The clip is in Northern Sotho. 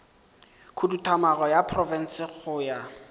khuduthamaga ya profense go ya